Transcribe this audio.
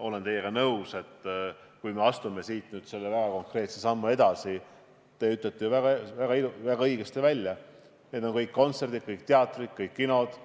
Olen teiega nõus, et kui astume siit nüüd selle väga konkreetse sammu edasi, siis te ütlete väga õigesti, et see puudutab kõiki kontserte, kõiki teatreid, kõik kinosid